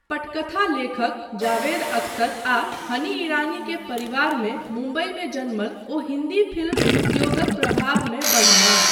पटकथा लेखक जावेद अख्तर आ हनी ईरानी के परिवारमे मुंबईमे जनमल ओ हिन्दी फिल्म उद्योगक प्रभावमे बढलाह।